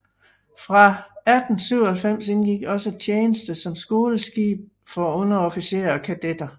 Fra 1897 indgik også tjeneste som skoleskib for underofficerer og kadetter